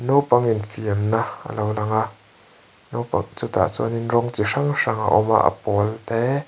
naupang infiamna a lo lang a naupang chutah chuanin rawng chi hrang hrang a awma a pawl te--